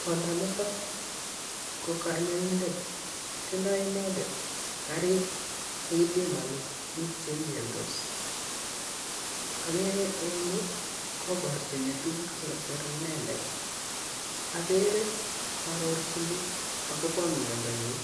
Kwanda nitok ko kanyoindet, tindoi inendet kariik che kipimane biik che miandos. Ageere eng inyuu kobarchini tuguuk che kasere inendet, apeere kaiarorchini akobo miandonyin.